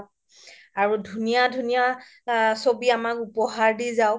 আৰু ধুনীয়া ধুনীয়া চবি উপহাৰ দি যাওক